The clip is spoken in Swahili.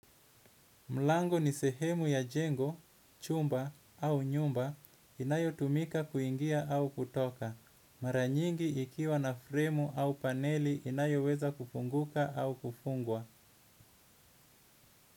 Mlangu ni sehemu ya jengo, chumba au nyumba inayotumika kuingia au kutoka. Maranyingi ikiwa na fremu au paneli inayo weza kufunguka au kufungwa.